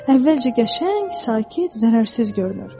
Əvvəlcə qəşəng, sakit, zərərsiz görünür.